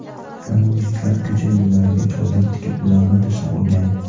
Namoyishchilar ko‘cha yo‘llariga chodir tikib ularni to‘sib olgan.